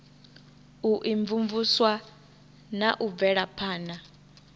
u imvumvusa na u bvelaphana